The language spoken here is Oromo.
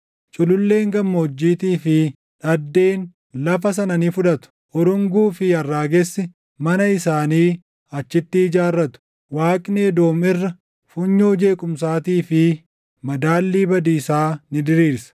Cululleen gammoojjiitii fi dhaddeen lafa sana ni fudhatu; urunguu fi arraagessi mana isaanii achitti ijaarratu. Waaqni Edoom irra, funyoo jeequmsaatii fi madaalii badiisaa ni diriirsa.